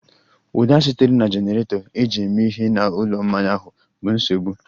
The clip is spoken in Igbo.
Ụda sitere na jenerato eji eme ihe na ụlọ mmanya ahụ bụ nsogbu